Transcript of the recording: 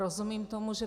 Rozumím tomu, že